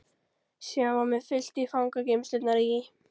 Síðan var mér fylgt í fangageymslurnar í